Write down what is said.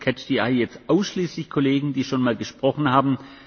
Wir haben beim jetzt ausschließlich Kollegen, die schon mal gesprochen haben.